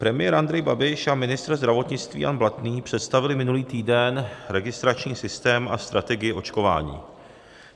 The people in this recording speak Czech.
Premiér Andrej Babiš a ministr zdravotnictví Jan Blatný představili minulý týden registrační systém a strategii očkování.